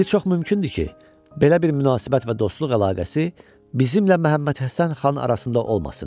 İndi çox mümkündür ki, belə bir münasibət və dostluq əlaqəsi bizimlə Məhəmməd Həsən xan arasında olmasın.